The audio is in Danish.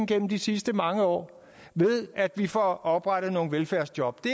gennem de sidste mange år ved at vi får oprettet nogle velfærdsjob det